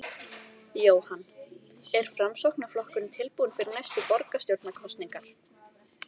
Jóhann: Er Framsóknarflokkurinn tilbúinn fyrir næstu borgarstjórnarkosningar?